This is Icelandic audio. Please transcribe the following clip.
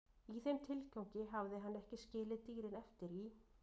Í þeim tilgangi hafði hann skilið dýrin eftir í